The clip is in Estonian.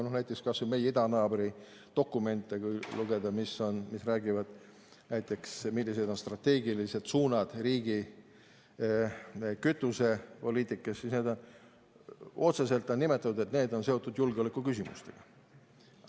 Näiteks, kui lugeda kas või meie idanaabri dokumente, mis räägivad sellest, millised on strateegilised suunad riigi kütusepoliitikas, siis otseselt on nimetatud, et need on seotud julgeolekuküsimustega.